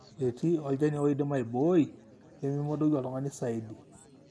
etii olchani oidim aibooii pee memodoku oltung'ani saidi